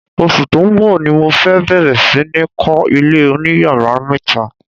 Oṣù tó ń bọ̀ ni mo fẹ́ bẹ̀rẹ̀ sí ní kọ́ ilé oníyàrá mẹ́ta.